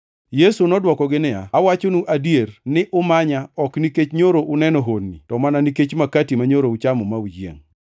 Yesu nodwokogi niya, “Awachonu adier, ni umanya ok nikech nyoro uneno honni, to mana nikech makati manyoro uchamo ma uyiengʼ.